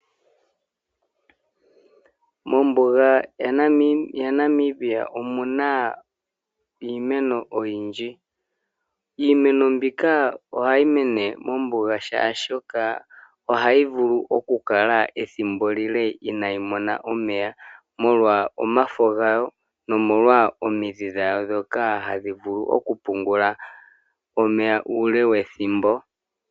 Mombuga yaNamibia omuna iimeno oyindji. Iimeno mbika ohayi mene mombuga shaashoka, ohayi vulu okukala ethimbo ele inayi mona omeya, molwa omafa gawo nomolwa omidhi dhawo dhoka hadhi vulu okupungula omeya uule wethimbo.